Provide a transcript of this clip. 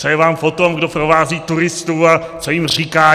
Co je vám po tom, kdo provází turisty a co jim říká?